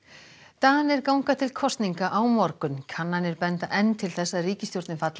Danir ganga til kosninga á morgun kannanir benda enn til þess að ríkisstjórnin falli